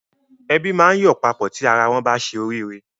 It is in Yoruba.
Ẹbí máa ń yọ̀ papọ̀ tí ara wọ́n bá ṣe oríire.